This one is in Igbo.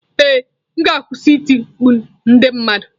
Ee m ga-akwụsị iti mkpu na ndị mmadụ.